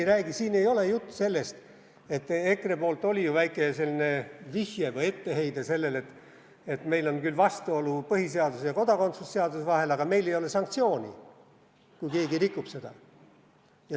EKRE poolt oli ju väike vihje või etteheide, et meil on küll vastuolu põhiseaduse ja kodakondsuse seaduse vahel, aga meil ei ole sanktsiooni, kui keegi rikub seda.